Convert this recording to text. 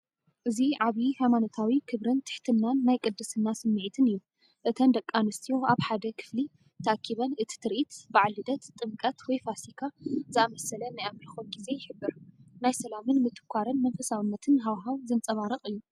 እዚ ዓብይ ሃይማኖታዊ ክብርን ትሕትናን ናይ ቅድስና ስምዒትን እዩ። እተን ደቂ ኣንስትዮ ኣብ ሓደ ክፍሊተኣኪበን፤ እቲ ትርኢት (በዓል ልደት፡ ጥምቀት ወይ ፋሲካ) ዝኣመሰለ ናይ ኣምልኾ ግዜ ይሕብር። ናይ ሰላምን ምትኳርን መንፈሳውነትን ሃዋህው ዘንጸባርቕ እዩ።